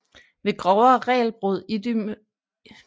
Ved grovere regelbrud idømmes spillerne gule eller røde kort